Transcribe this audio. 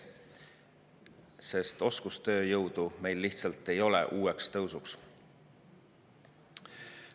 Sest oskustööjõudu meil lihtsalt ei ole uueks tõusuks.